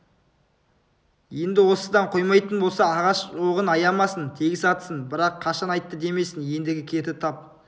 енді осыдан қоймайтын болса ағаш оғын аямасын тегіс атсын бірақ қашан айттың демесін ендігі керді тап